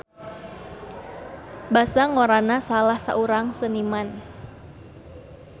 Basa ngorana salah saurang seniman.